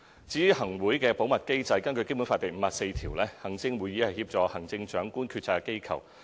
有關行政會議的保密機制，根據《基本法》第五十四條，行政會議是協助行政長官決策的機構。